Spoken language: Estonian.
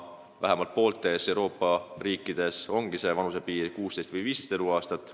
Vähemalt pooltes Euroopa riikides ongi see vanusepiir 16 või 15 eluaastat.